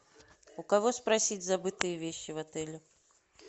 у кого спросить забытые вещи в отеле